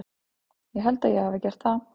Ég held að ég hafi gert það.